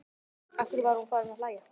Af hverju var hún farin að hlæja?